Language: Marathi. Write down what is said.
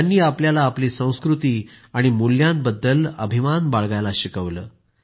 त्यांनी आपल्याला आपली संस्कृती आणि मूळांबद्दल अभिमान बाळगायला शिकवलं